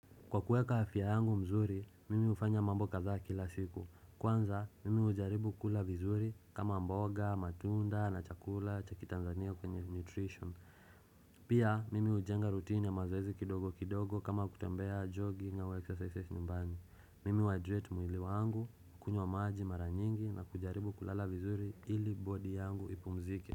Kwa kuweka afya yangu mzuri, mimi hufanya mambo kadhaa kila siku. Kwanza, mimi hujaribu kula vizuri kama mboga, matunda, na chakula, cha kiTanzania kwenye nutrition. Pia, mimi hujenga rutini ya mazoezi kidogo kidogo kama kutembea jogging ama exercises nyumbani. Mimi huhydrate mwili wangu, kunywa maji mara nyingi na kujaribu kulala vizuri ili body yangu ipumzike.